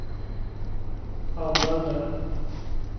använde